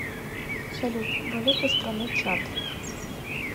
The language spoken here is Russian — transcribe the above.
салют валюта страны чад